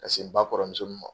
n ba kɔrɔmuso min ma